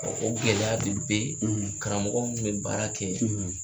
O gɛlɛya de bɛ karamɔgɔ kun bɛ baara kɛ